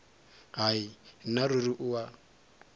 hai nna ruri o a